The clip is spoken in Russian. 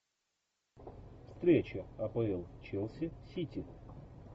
встреча апл челси сити